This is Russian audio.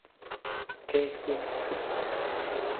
кейт уинслет